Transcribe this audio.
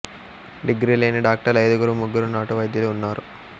degree లేని డాక్టర్లు ఐదుగురు ముగ్గురు నాటు వైద్యులు ఉన్నారు